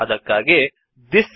ಅದಕ್ಕಾಗಿ ಥಿಸ್